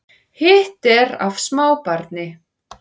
Hitt er af smábarni